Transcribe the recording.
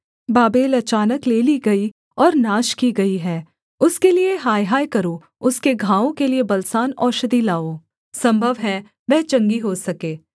Babel अचानक ले ली गई और नाश की गई है उसके लिये हायहाय करो उसके घावों के लिये बलसान औषधि लाओ सम्भव है वह चंगी हो सके